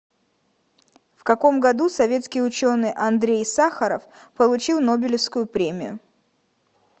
в каком году советский ученый андрей сахаров получил нобелевскую премию